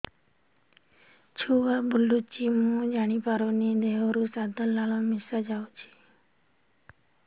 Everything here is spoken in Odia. ଛୁଆ ବୁଲୁଚି ମୁଇ ଜାଣିପାରୁନି ଦେହରୁ ସାଧା ଲାଳ ମିଶା ଯାଉଚି